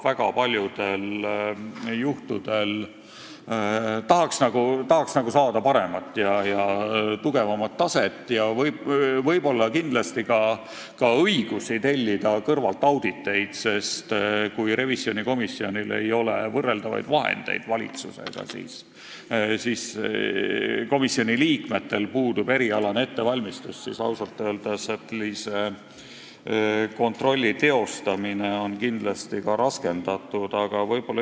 Väga paljudel juhtudel tahaks paremat ja tugevamat taset, võib-olla ka õigust tellida mujalt auditeid, sest kui revisjonikomisjonil ei ole valitsusega võrreldavaid vahendeid ja kui komisjoni liikmetel puudub erialane ettevalmistus, siis on kontroll ausalt öeldes kindlasti raskendatud.